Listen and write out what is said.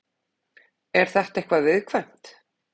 Er þetta eitthvað viðkvæmt?